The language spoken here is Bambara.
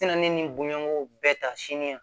Tɛna ne ni bonya ko bɛɛ ta sini yan